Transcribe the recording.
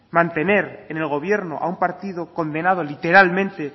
mantener en el gobierno a un partido condenado literalmente